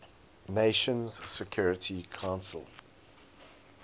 nations security council